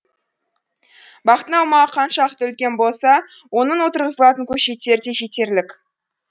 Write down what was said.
бақтың аумағы қаншалықты үлкен болса онда отырғызылған көшеттер де жетерлік